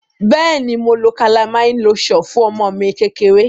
Beeni, Mo lo calamine lotion fun omo mi kekere.